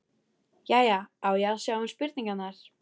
Jæja, á ég að sjá um spurningarnar?